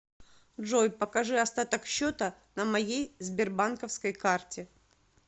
джой покажи остаток счета на моей сбербанковской карте